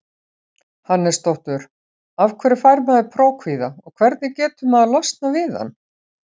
Hannesdóttur Af hverju fær maður prófkvíða og hvernig getur maður losnað við hann?